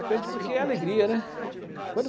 Aprende porque é a alegria, né. Uhum.